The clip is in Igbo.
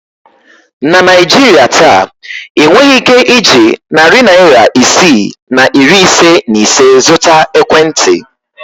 Na Naijiria taa, ị nweghị ike iji narị naịra isii na iri ise na ise zụta ekwentị.